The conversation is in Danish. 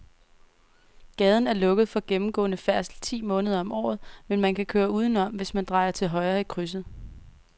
Gaden er lukket for gennemgående færdsel ti måneder om året, men man kan køre udenom, hvis man drejer til højre i krydset.